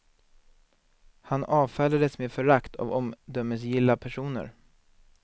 Han avfärdades med förakt av omdömesgilla personer.